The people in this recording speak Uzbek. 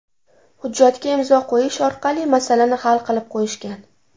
Hujjatga imzo qo‘yish orqali masalani hal qilib qo‘yishgan.